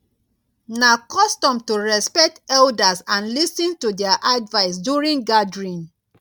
na custom to respect elders and lis ten to their advice during gathering.